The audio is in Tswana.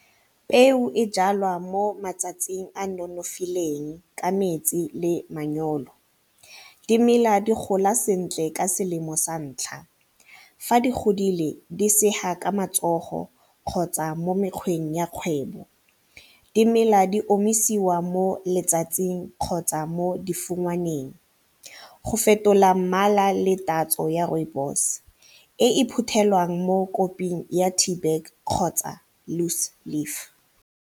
Peo e jalwa mo matsatsing a nonofileng ka metsi le manyoro. Dimela di gola sentle ka selemo santlha, fa di godile di sega ka matsogo kgotsa mo mekgweng ya kgwebo, dimela di omisiwa mo letsatsing kgotsa mo difungwaneng. Go fetola mmala le tatso ya rooibos e e phuthelwang mo koping ya tee bag kgotsa loose leaf.